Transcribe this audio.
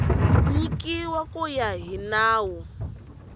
nyikiwa ku ya hi nawu